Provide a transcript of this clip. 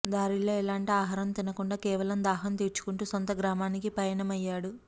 దారిలో ఎలాంటి ఆహారం తినకుండా కేవలం దాహం తీర్చుకుంటూ సొంత గ్రామానికి పయనమయ్యాడు